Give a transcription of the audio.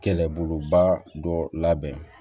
Kɛlɛboloba dɔ labɛn